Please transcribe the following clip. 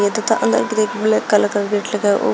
तथा अलग grey colour काला कलर गेट लगा हुआ है।